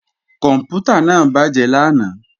Kòǹpútà náà bàjé lánàá